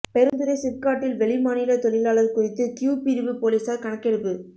பெருந்துறை சிப்காட்டில் வெளிமாநிலத் தொழிலாளா் குறித்து கியூ பிரிவு போலீஸாா் கணக்கெடுப்பு